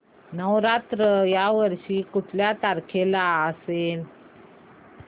नवरात्र या वर्षी कुठल्या तारखेला असेल